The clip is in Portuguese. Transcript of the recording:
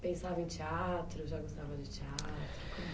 Pensava em teatro? Já gostava de teatro?